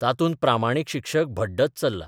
तातूंत प्रामाणीक शिक्षक भड्डत चल्ला.